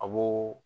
A b'o